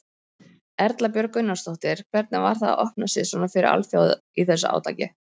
Erla Björg Gunnarsdóttir: Hvernig var það að opna sig svona fyrir alþjóð í þessu átaki?